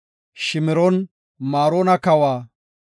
Shimroon-Maroona kawa, Azifa kawa,